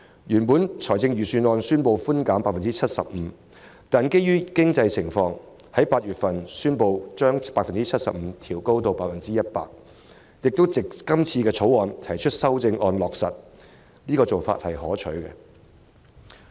預算案原本建議 75% 寬免比率，但基於經濟情況，財政司司長於8月宣布將相關比率由 75% 調高至 100%， 並藉着今次對《條例草案》提出修訂加以落實，這做法是可取的。